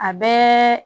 A bɛɛ